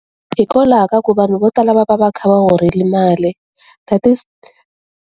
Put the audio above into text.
Hikokwalaho ka ku vanhu vo tala va va va kha va horile mali .